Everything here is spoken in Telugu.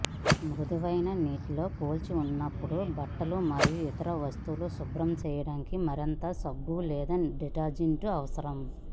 మృదువైన నీటితో పోల్చినప్పుడు బట్టలు మరియు ఇతర వస్తువులను శుభ్రం చేయడానికి మరింత సబ్బు లేదా డిటర్జెంట్ అవసరం